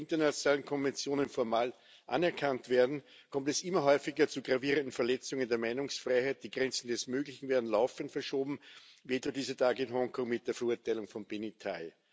Obwohl die internationalen Konventionen formal anerkannt werden, kommt es immer häufiger zu gravierenden Verletzungen der Meinungsfreiheit, die Grenzen des Möglichen werden laufend verschoben, wie etwa dieser Tage mit der Verurteilung von Benny Tai.